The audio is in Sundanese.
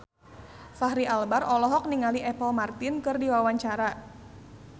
Fachri Albar olohok ningali Apple Martin keur diwawancara